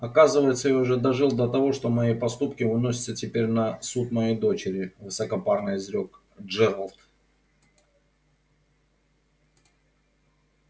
оказывается я уже дожил до того что мои поступки выносятся теперь на суд моей дочери высокопарно изрёк джералд